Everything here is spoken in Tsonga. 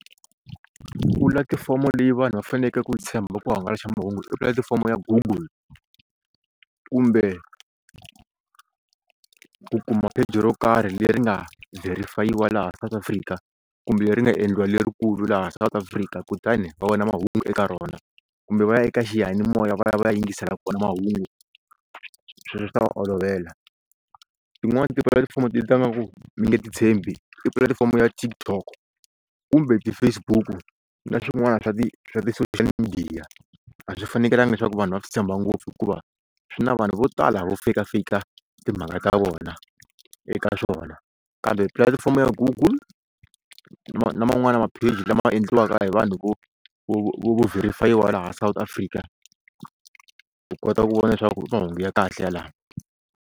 Pulatifomo leyi vanhu va fanekele ku yi tshemba ku hangalasa mahungu i pulatifomo ya google kumbe ku kuma pheji ro karhi leri nga verify-iwa laha South Afrika kumbe ri nga endliwa lerikulu laha South Africa kutani va vona mahungu eka rona kumbe va ya eka xiyanimoya va ya va ya yingisela kona mahungu sweswo swi ta va olovela tin'wani tipulatifomo ti tlanga ku mi nge ti tshembi i pulatifomo ya TikTok kumbe ti-Facebook na swin'wana swa ti swa ti-social media a swi fanekrlanga leswaku vanhu va swi tshemba ngopfu hikuva swi na vanhu vo tala vo fake-a fake-a timhaka ta vona eka swona kambe pulatifomo ya google na man'wana mapheji lama endliwaka hi vanhu loko vo verify-iwa laha South Africa u kota ku vona leswaku i mahungu ya kahle yalawo.